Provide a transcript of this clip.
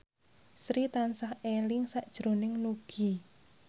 Sri tansah eling sakjroning Nugie